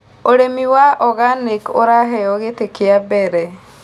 Ũrĩmĩ wa organĩc ũraheo gĩtĩ kĩa mbere